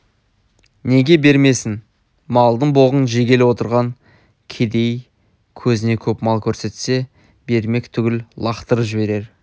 неге бермесін малдың боғын жегелі отырған кедей көзіне көп мал көрсетсе бермек түгіл лақтырып жіберер